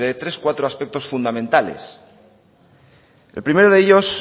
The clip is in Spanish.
tres cuatro aspectos fundamentales el primero de ellos